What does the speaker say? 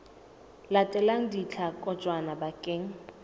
latelang di tla kotjwa bakeng